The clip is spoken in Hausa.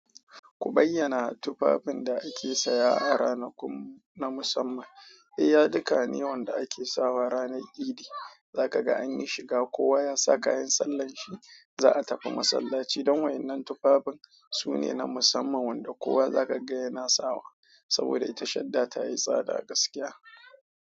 Ku bayyana tufafin da ake saya a ranakun na musamman. Eh, ya duka ne wanda ake sawa ranar idi, za ka ga an yi shiga kowa ya sa kayan sallan shi, za a tafi masallaci don wannan tufafin sune na musamman wanda kowa za ka ga yana sawa saboda ita shadda ta yi tsada gaskiya.